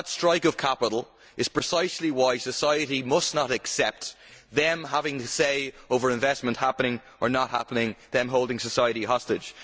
That strike of capital is precisely why society must not accept them having the say over investment happening or not happening, them holding society hostage.